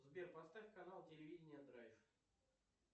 сбер поставь канал телевидение драйв